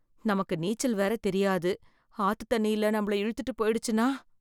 நமக்கு நீச்சல் வேற தெரியாது ஆத்து தண்ணியில நம்மள இழுத்துட்டு போயிடுச்சுன்னா.